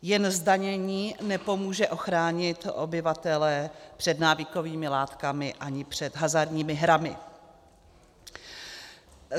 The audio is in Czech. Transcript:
Jen zdanění nepomůže ochránit obyvatele před návykovými látkami ani před hazardními hrami.